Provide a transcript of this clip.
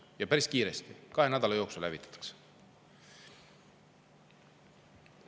Ja päris kiiresti, kahe nädala jooksul hävitatakse.